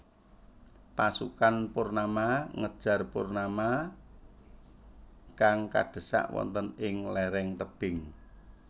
Pasukan Purnama ngejar Purnama kang kadhesak wonten ing léréng tebing